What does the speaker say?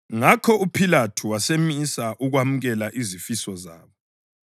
Ngakho uPhilathu wasemisa ukwemukela izifiso zabo.